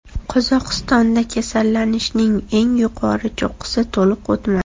Qozog‘istonda kasallanishning eng yuqori cho‘qqisi to‘liq o‘tmadi.